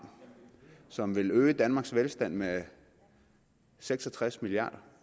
som vil øge danmarks velstand med seks og tres milliard